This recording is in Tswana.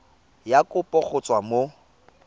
ya kopo go tswa mo